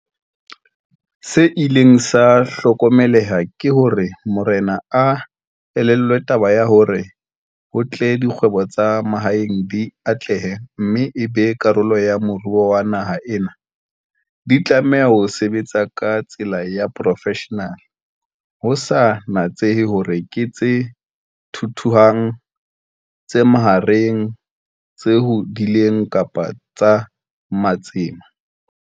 Se ileng sa hlokomeleha ke hore marena a elellwa taba ya hore ho tle dikgwebo tsa mahaeng di atlehe mme e be karolo ya moruo wa naha ena, di tlameha ho sebetsa ka tsela ya profeshenale ho sa natsehe hore ke tse thuthuhang, tse mahareng, tse hodileng kapa tsa matsema.